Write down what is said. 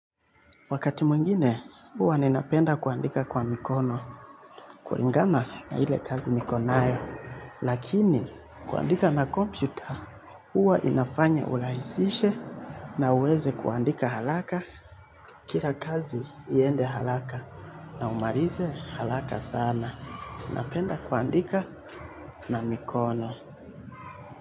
Wakati mwingine huwa ninapenda kuandika kwa mikono kulingama na ile kazi niko nayo lakini kuandika na kompyuta huwa inafanya urahisishe na uweze kuandika haraka kila kazi iende haraka na umalize haraka sana. Napenda kuandika na mikono.